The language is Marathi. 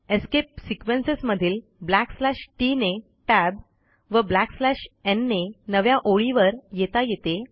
एस्केप सिक्वेन्सेस मधील ब्लॅकस्लॅश टीटी ने टॅब व ब्लॅकस्लॅश न् ने नव्या ओळीवर येता येते